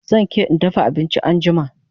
Zan ke in dafa abinchin anjima